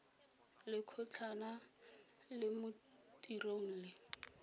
lekgotlana la mo tirong le